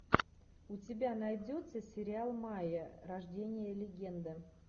у тебя найдется сериал майя рождение легенды